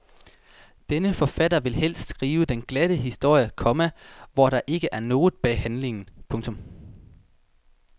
Denne forfatter vil helst skrive den glatte historie, komma hvor der ikke er noget bag handlingen. punktum